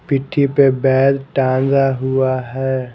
पिट्ठी पर बैग टांगा हुआ है ।